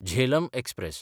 Jhelum express